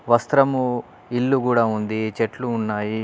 వస్త్రము ఇల్లు కూడా ఉంది. చెట్లు ఉన్నాయి.